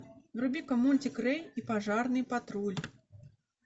вруби ка мультик рэй и пожарный патруль